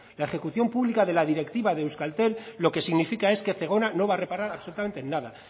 la ejecución pública de la directiva de euskaltel lo que significa es que zegona no va a reparar absolutamente en nada